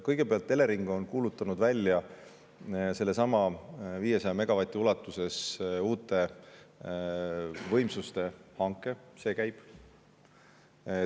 Kõigepealt, Elering on kuulutanud välja 500 megavati ulatuses uute võimsuste hanke, see käib.